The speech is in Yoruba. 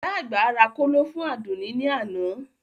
Ìyá àgbà ra kóló fún Àdùnní ní àná